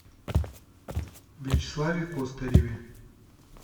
вячеславе костареве